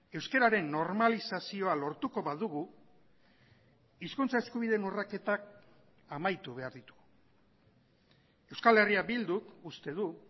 euskararen normalizazioa lortuko badugu hizkuntza eskubideen urraketak amaitu behar ditu euskal herria bilduk uste du